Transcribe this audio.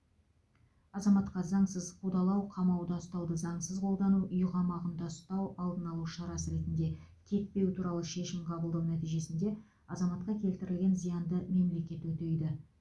азаматқа заңсыз қудалау қамауда ұстауды заңсыз қолдану үй қамағында ұстау алдын алу шарасы ретінде кетпеу туралы шешім қабылдау нәтижесінде азаматқа келтірілген зиянды мемлекет өтейді